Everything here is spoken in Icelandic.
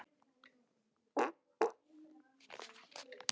Jóhanna: Hvað eruð þið búin að gera í dag?